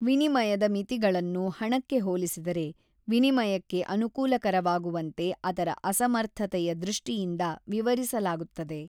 ವಿನಿಮಯದ ಮಿತಿಗಳನ್ನು ಹಣಕ್ಕೆ ಹೋಲಿಸಿದರೆ ವಿನಿಮಯಕ್ಕೆ ಅನುಕೂಲಕರವಾಗುವಂತೆ ಅದರ ಅಸಮರ್ಥತೆಯ ದೃಷ್ಟಿಯಿಂದ ವಿವರಿಸಲಾಗುತ್ತದೆ.